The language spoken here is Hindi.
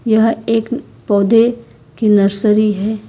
यह एक पौधे की नर्सरी है।